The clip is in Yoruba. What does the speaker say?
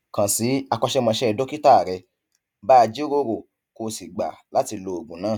kàn sí akọṣẹmọṣẹ dókítà rẹ bá a jíròrò kó o sì gbà láti lo oògùn náà